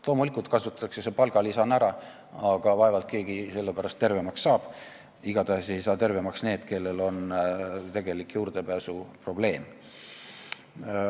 Loomulikult kasutatakse see palgalisana ära, aga vaevalt keegi sellepärast tervemaks saab, igatahes ei saa tervemaks need, kellel on tegelik juurdepääsuprobleem.